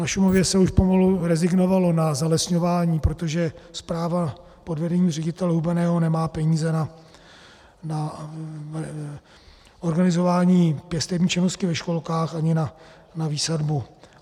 Na Šumavě se už pomalu rezignovalo na zalesňování, protože správa pod vedením ředitele Hubeného nemá peníze na organizování pěstební činnosti ve školkách ani na výsadbu.